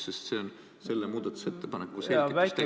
Sest see on selle muudatusettepaneku selgituse tekstis.